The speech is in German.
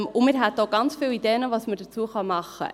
Wir haben auch ganz viele Ideen, was man tun könnte.